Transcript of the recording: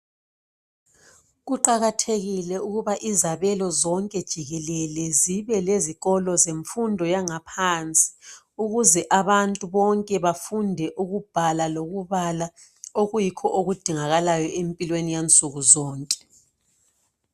Kuqakathekile ukuthi izabelo zonke jikelele zibe lezikolo zemfundo yangaphansi ukuze abantu bonke bafunde ukubhala lokubala okuyikho okudingakalayo empilweni yansukuzonke.